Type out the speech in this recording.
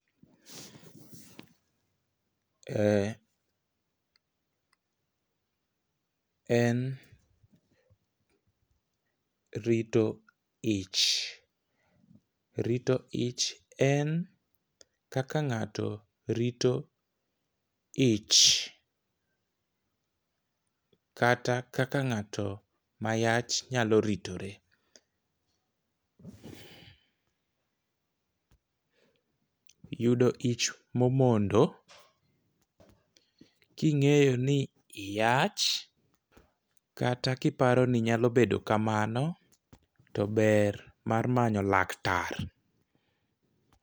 E en rito ich rito ich en kaka ng'ato rito ich kata kaka ng'ato mayach nyalo ritore . Yudo ich momondo king'eyo ni iyach kata kiparo ninyalo bedo kamano to ber mar manyo laktar.